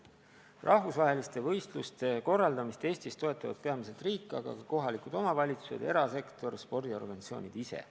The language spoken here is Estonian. Rahvusvaheliste võistluste korraldamist Eestis toetavad peamiselt riik, aga ka kohalikud omavalitsused ja erasektor, samuti spordiorganisatsioonid ise.